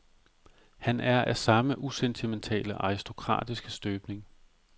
Han er af samme usentimentale, aristokratiske støbning.